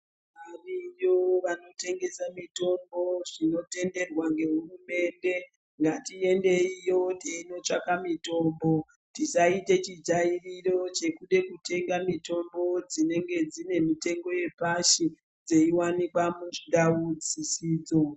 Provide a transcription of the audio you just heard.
Variyo vanotengesa mitombo zvinotenderwa ngehurumende ngatiendeyo teinotsvake mitombo tisaite chijairiro chekude kutenga mitombo dzinenge dzine mitengo yepashi dzeiwanekwa mundau dzisidzo.